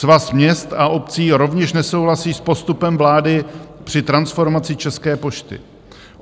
Svaz měst a obcí rovněž nesouhlasí s postupem vlády při transformaci České pošty.